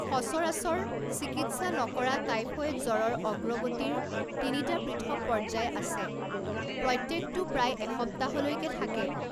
সচৰাচৰ, চিকিৎসা নকৰা টাইফয়েড জ্বৰৰ অগ্ৰগতিৰ তিনিটা পৃথক পৰ্যায় আছে, প্ৰত্যেকটো প্ৰায় এসপ্তাহলৈকে থাকে।